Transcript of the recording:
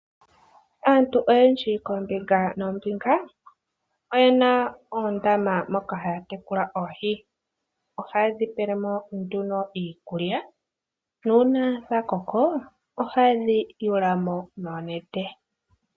Aantu oyendji koombinga noombinga, oyena oondama moka haya tekulile oohii. Oha ye dhi pelemo nduno iikulya nuuna dhakoko, oha ye dhi yawulamo noonete.